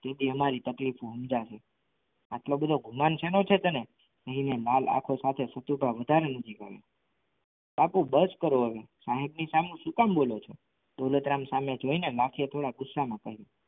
તે દી અમારી તકલીફ સમજાશે આટલું બધું ગુમાન શેનો છે તને એનો માલ આખો સામે સતી તો વધારે નાકીજ આયા બાપુ બસ કરો હવે માણસ સામે શું કામ બોલો છો હવે દોલતરામ સામે જોઈને માખી એ થોડા ગુસ્સામાં કહ્યું.